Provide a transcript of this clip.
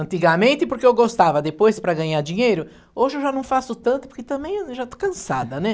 antigamente porque eu gostava, depois para ganhar dinheiro, hoje eu já não faço tanto porque também eu já estou cansada, né?